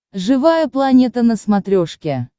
живая планета на смотрешке